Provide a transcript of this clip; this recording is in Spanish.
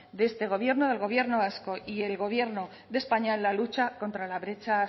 de este gobierno del gobierno vasco y el gobierno de españa la lucha contra la brecha